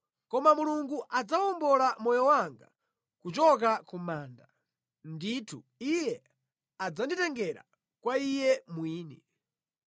Koma Mulungu adzawombola moyo wanga kuchoka ku manda; ndithu Iye adzanditengera kwa Iye mwini.